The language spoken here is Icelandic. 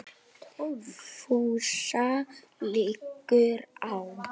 FÚSA LIGGUR Á